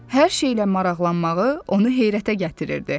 Hər şeylə maraqlanmağı onu heyrətə gətirirdi.